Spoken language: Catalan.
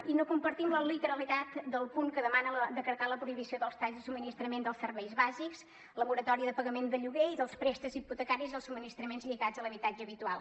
i no compartim la literalitat del punt que demana decretar la prohibició dels talls de subministrament dels serveis bàsics la moratòria de pagament del lloguer i dels préstecs hipotecaris i els subministraments lligats a l’habitatge habitual